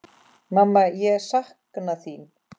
Mamma ég sakna þín.